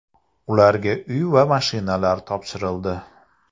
Ularga uy va mashinalar topshirildi.